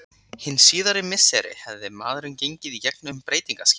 Hin síðari misseri hafði maðurinn gengið í gegn um breytingaskeið.